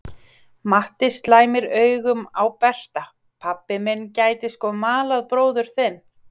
Matti slæmir augum á Berta: Pabbi minn gæti sko malað bróður þinn.